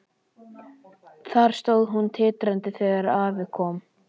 Þar stóð hún titrandi þegar afi kom.